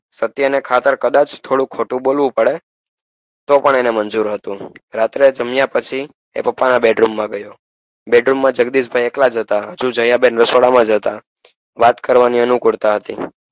સત્ય ને ખાતર કદાચ ખોટું બોલવું પડે તોપણ એને મંજુર હતું રાત્રે જામિયા પછી એ પપ્પા bed room માં ગયો bed room માં જગદીશ ભાઈ એકલા જ હતા દયા બેન રસોડા માં હતા વાત કરવાની અનુકૂળતા હતી